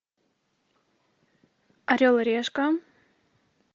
орел и решка